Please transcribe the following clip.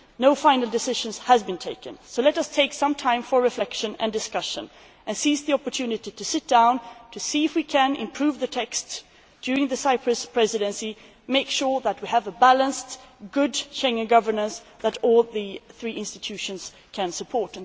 No final decision has been taken so let us take some time for reflection and discussion and seize the opportunity to sit down to see if we can improve the text during the Cyprus Presidency and make sure that we have a balanced, good Schengen governance that all three institutions can support.